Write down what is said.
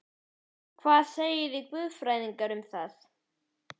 Hvað segið þið guðfræðingar um það?